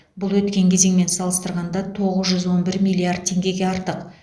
бұл өткен кезеңмен салыстырғанда тоғыз жүз он бір миллиард теңгеге артық